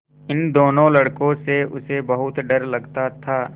इन दोनों लड़कों से उसे बहुत डर लगता था